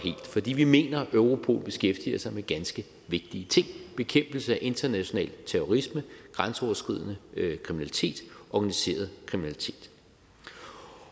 fordi vi mener at europol beskæftiger sig med ganske vigtige ting bekæmpelse af international terrorisme grænseoverskridende kriminalitet organiseret kriminalitet